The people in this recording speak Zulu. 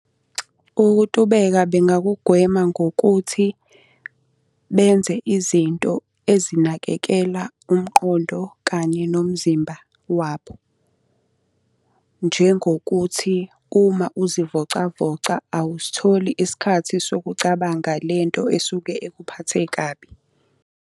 Ukutubeka bengakugwema ngokuthi benze izinto ezinakekela umqondo, kanye nomzimba wabo. Njengokuthi uma uzivocavoca awusitholi isikhathi sokucabanga le nto esuke ekuphathe kabi.